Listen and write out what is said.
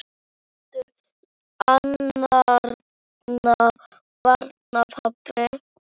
Ekki heldur annarra barna pabbi.